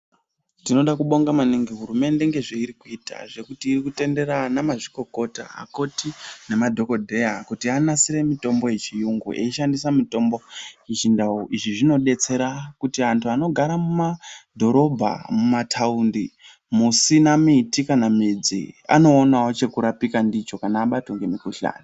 Tinoda kubonga maningi hurumende ngezveiri kuita ,zvekuti uri kutendera anamazvikokota, akoti namadhokodheya kuti anasire. mitombo yechiyungu, eishandisa mitombo yechindau. Izvi zvinodetsera kuti anhu anogara mumadhorobha, mumathaundi, musina miti kana midzi, anoonawo chekurapika ndicho, kana vabatwa ngemikhuhlani..